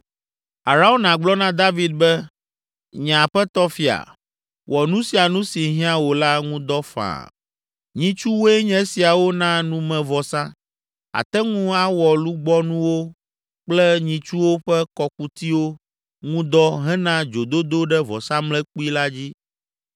Arauna gblɔ na David be, “Nye aƒetɔ fia, wɔ nu sia nu si hiã wò la ŋu dɔ faa. Nyitsuwoe nye esiawo na numevɔsa; àte ŋu awɔ lugbɔnuwo kple nyitsuwo ƒe kɔkutiwo ŋu dɔ hena dzododo ɖe vɔsamlekpui la dzi.